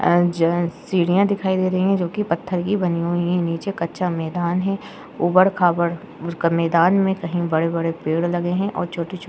सीढ़ियां दिखाई दे रही है जोकि पत्थर की बनी हुई है नीचे कच्चा मैदान है ऊबड़खाबड़ मैदान में बड़े-बड़े पेड़ लगे है और छोटे-छोटे --